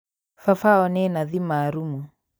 Baba wao nĩ nathi maarumu